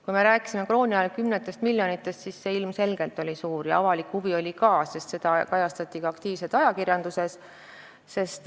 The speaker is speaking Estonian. Kui me rääkisime krooni ajal kümnetest miljonitest, siis see kahju ilmselgelt oli suur ja avalik huvi oli ka olemas, sest seda kajastati ka aktiivselt ajakirjanduses.